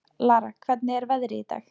Lara, hvernig er veðrið í dag?